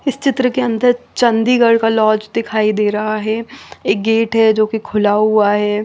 इस चित्र के अंदर चंडीगढ़ का लॉज दिखाई दे रहा है एक गेट है जो कि खुला हुआ है।